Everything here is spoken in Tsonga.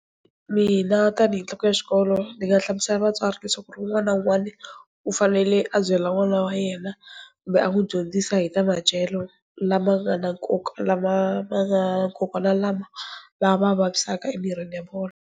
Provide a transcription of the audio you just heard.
Mina tanihi nhloko ya xikolo ni nga hlamusela vatswari le swa ku ri un'wana na un'wana u fanele a byela n'wana wa yena kumbe a n'wi dyondzisa hi ta madyelo lama nga na nkoka lama makoka na lama va va vavisaka emirini ya vona.